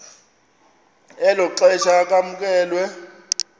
elo xesha kwamkelwe